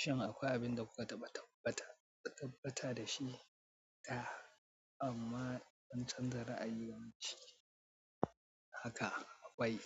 Shin akwai abin da kuka tabbata da shi ta amma kun canza ra'ayi game da shi? Haka wai,